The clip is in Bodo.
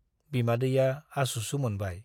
बिमादैया आसुसु मोनबाय ।